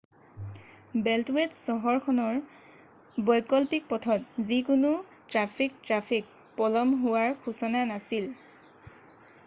বেল্টৱেত চহৰখনৰ বৈকল্পিক পথত যিকোনো ট্ৰেফিক ট্ৰেফিক পলম হোৱাৰ সূচনা নাছিল৷